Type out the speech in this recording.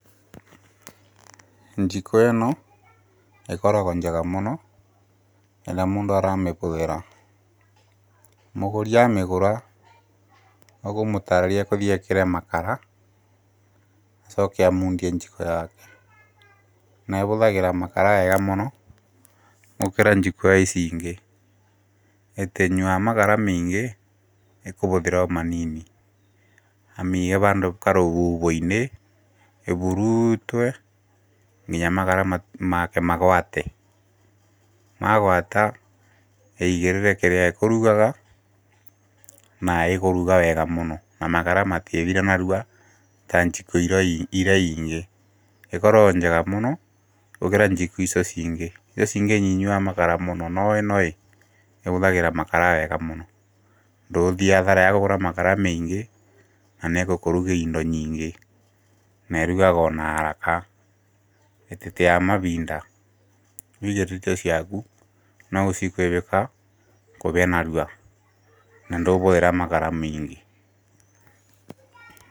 Njiko ĩno ĩkoragwo njega mũno rĩrĩa mũndũ aramĩhũthĩra. Mũgũri amĩgũra ũkũmũtarĩria agũthiĩ ekĩre makara acoke amundie njiko yake. Na ĩhũthagĩra makara wega mũno gũkĩra njiko ici ingĩ, ndĩnyuaga makara maingĩ ĩkũhũthĩra o manini. Amĩige handũ karũhuhoinĩ ĩhurutwo nginya makara make magwate, magwata aigĩrĩre kĩrĩa akũrugaga na ĩkũruga wega mũno na makara matirĩthira narua ta njiko iria ingĩ. ĩkoragwo ĩ njiko njega mũno gũkĩra njiko icio ingĩ. Icio ingĩ nĩinyuaga makara mũno no ĩno ĩhũthagĩra makara wega mũno. Ndũgũthiĩ hathara ya kũgũra makara maingĩ na nĩĩgũkũrugĩra indo nyingĩ na ĩrugaga ona haraka ndĩteyaga mahinda. Waigĩrĩka irio ciaku no gũcikunĩka ihĩe narua na ndũkũhũthĩra makara maingĩ.